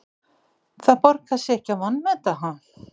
Það borgar sig ekki að vanmeta, ha?